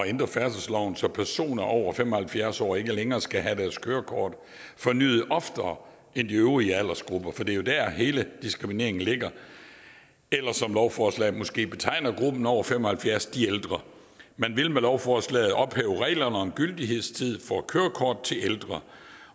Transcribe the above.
ændre færdselsloven så personer over fem og halvfjerds år ikke længere skal have deres kørekort fornyet oftere end de øvrige aldersgrupper for det er jo der hele diskrimineringen ligger eller som lovforslaget måske betegner gruppen over fem og halvfjerds de ældre man vil med lovforslaget ophæve reglerne om gyldighedstid for kørekort til ældre